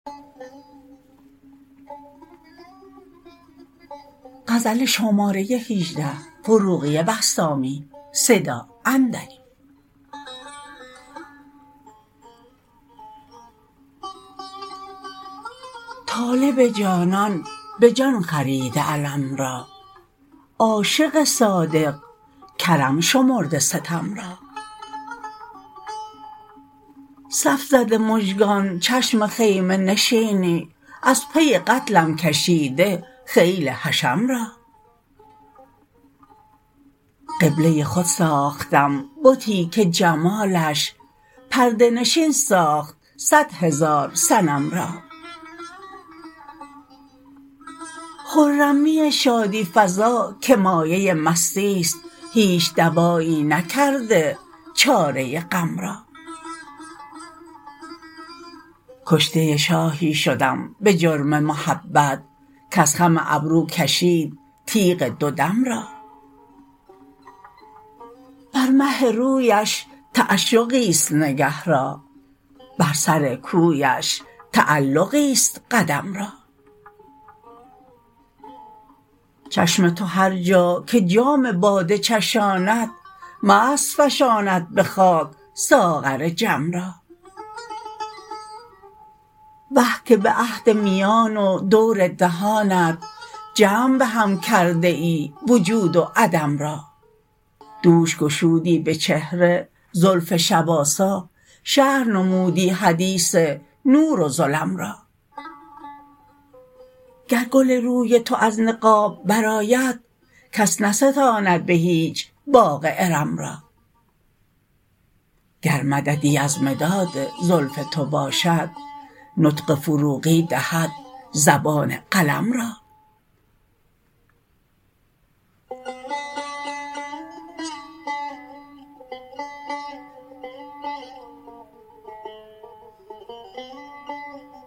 طالب جانان به جان خریده الم را عاشق صادق کرم شمرده ستم را صف زده مژگان چشم خیمه نشینی از پی قتلم کشیده خیل حشم را قبله خود ساختم بتی که جمالش پرده نشین ساخت صد هزار صنم را خرمی شادی فزا که مایه مستی است هیچ دوایی نکرده چاره غم را کشته شاهی شدم به جرم محبت کز خم ابرو کشید تیغ دو دم را بر مه رویش تعشقی است نگه را بر سر کویش تعلقی است قدم را چشم تو هر جا که جام باده چشاند مست فشاند به خاک ساغر جم را وه که به عهد میان و دور دهانت جمع به هم کرده ای وجود و عدم را دوش گشودی به چهره زلف شب آسا شرح نمودی حدیث نور و ظلم را گر گل روی تو از نقاب برآید کس نستاند به هیچ باغ ارم را گر مددی از مداد زلف تو باشد نطق فروغی دهد زبان قلم را